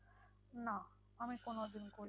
না আমি কোনোদিন করিনি।